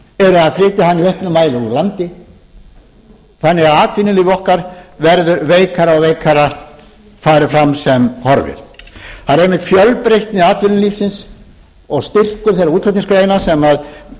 auknum mæli úr landi þannig að atvinnulíf okkar verður veikara og veikara fari fram sem horfir það er einmitt fjölbreytni atvinnulífsins og styrkur þeirra útflutningsgreina sem